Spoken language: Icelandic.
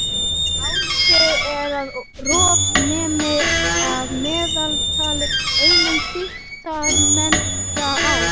Álitið er að rof nemi að meðaltali einum þykktarmetra á